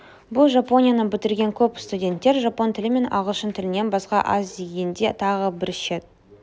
бұны жапонияны бітірген көп студенттер жапон тілі мен ағылшын тілінен басқа аз дегенде тағы бір шет